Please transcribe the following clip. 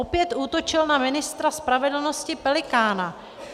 Opět útočil na ministra spravedlnosti Pelikána.